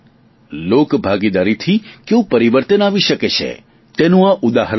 લોકભાગીદારીથી કેવું પરીવર્તન આવી શકે છે તેનું આ ઉદાહરણ છે